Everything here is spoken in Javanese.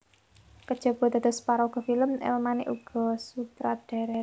Kajaba dados paraga film El manik ugi sutradara